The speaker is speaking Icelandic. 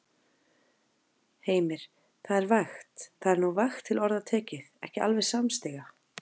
Heimir: Það er vægt, það er nú vægt til orða tekið, ekki alveg samstíga?